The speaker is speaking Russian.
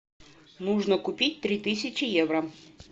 нужно купить три тысячи евро